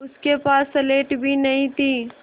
उसके पास स्लेट भी नहीं थी